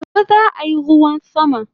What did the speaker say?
Gobe zaayi ruwan sama